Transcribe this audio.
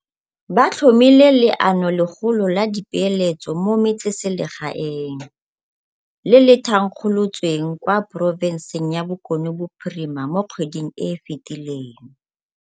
Ba tlhomile Leanolegolo la Dipeeletso mo Metsesele gaeng, le le thankgolotsweng kwa porofenseng ya Bokone Bophirima mo kgweding e e fetileng.